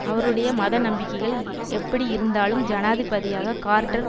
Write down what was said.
அவருடைய மத நம்பிக்கைகள் எப்படி இருந்தாலும் ஜனாதிபதியாக கார்ட்டர்